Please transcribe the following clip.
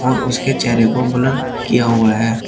और उसके चेहरे को ब्लर किया हुआ है।